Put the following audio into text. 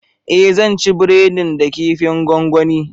Ee zan ci breadin da kifin gongoni